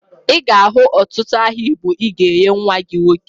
Ị ga-ahụ ọtụtụ aha igbo ị ga-enye nwa gị nwoke